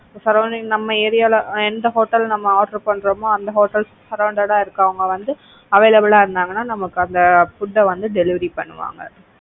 surrounding ல நம்ம ஏரியாவுல எந்த ஹோட்டல்ல நம்ம order பன்றோமோ அந்த hotels sorrounded ஆ இருக்குறவங்க வந்து available ஆ இருந்தங்கன்னா நமக்கு அந்த food அ வந்து delivery பண்ணுவாங்க.